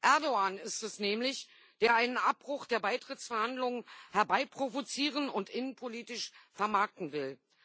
Erdoğan ist es nämlich, der einen Abbruch der Beitrittsverhandlungen herbeiprovozieren und innenpolitisch vermarkten will.